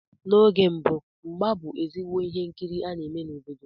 N'oge mbụ mgba bú ezigbo ihe nkiri a na-eme n'obodo.